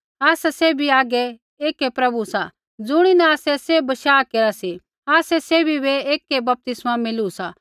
आसा सैभी हागै एकै प्रभु सा ज़ुणिन आसै सैभ बशाह केरा सी आसा सैभी बै एकै बपतिस्मा मिलू सा